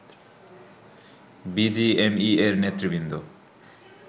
বিজিএমইএ’র নেতৃবৃন্দ